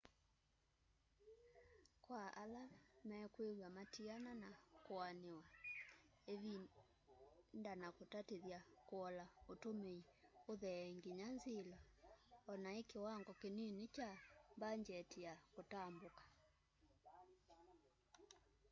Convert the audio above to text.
kwa ala mekwiwa matiana na kûanîwa îvinda na kûtatîthya kûola ûtûmîi ûthee nginya nzilo onai kiwango kinini kya mbangyeti ya kûtambûka